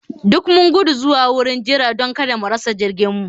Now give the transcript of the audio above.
Duk mun gudu zuwa wurin jira don kada mu rasa jirginmu